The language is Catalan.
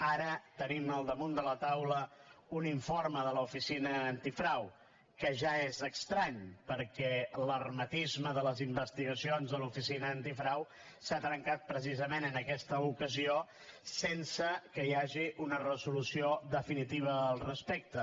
ara tenim al damunt de la taula un informe de l’oficina antifrau que ja és estrany perquè l’hermetisme de les investigacions de l’oficina antifrau s’ha trencat precisament en aquesta ocasió sense que hi hagi una resolució definitiva al respecte